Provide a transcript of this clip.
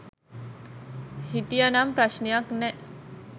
හිටිය නම් ප්‍රශ්නයක් නෑ.